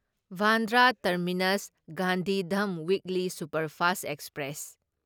Bandra terminus Gandhidham weekly superfast express